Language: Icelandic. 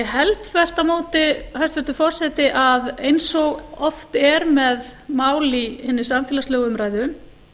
held þvert á móti hæstvirtur forseti að eins og oft er með mál í hinni samfélagslegu umræðu